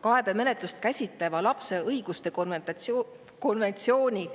Kaebemenetlust käsitleva lapse õiguste konventsiooni